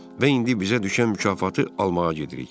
Və indi bizə düşən mükafatı almağa gedirik.